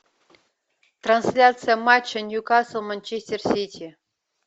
трансляция матча ньюкасл манчестер сити